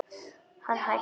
Hann hækkar.